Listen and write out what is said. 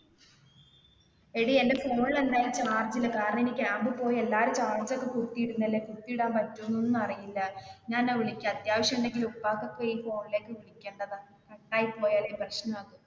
എടി എന്റെ phone ല് എന്തായാലും charge ഇല്ല കാരണം ഇനി camp ൽ പോയി എല്ലാരും charge ഒക്കെ കുത്തി ഇടുന്നതല്ലെ കുത്തി ഇടാൻ പറ്റുമോ എന്ന് ഒന്നും അറിയില്ല ഞാൻ അന്നേ വിളിക്ക അത്യാവിശം ഉണ്ടെങ്കിൽ ഉപ്പാക്കൊക്കെ ഈ phone ലേക്ക് വിളിക്കേണ്ടതാ cut ആയി പോയാൽ പ്രെഷ്ന